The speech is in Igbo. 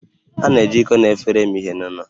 A na-eji iko na efere eme ihe n'ụlọ